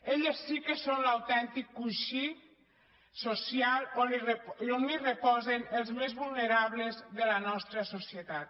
elles sí que són l’autèntic coixí social on reposen els més vulnerables de la nostra societat